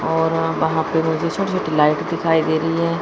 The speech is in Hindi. और वहां पे मुझे छोटे छोटे लाइट दिखाई दे रही है।